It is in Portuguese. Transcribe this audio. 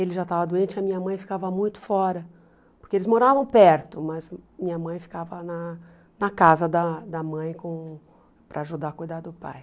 Ele já estava doente e a minha mãe ficava muito fora, porque eles moravam perto, mas minha mãe ficava na na casa da da mãe com para ajudar a cuidar do pai.